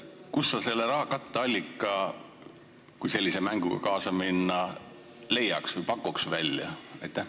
Kust sa selle katteallika, kui sellise mänguga kaasa minna, leiaks või mida sa pakuks?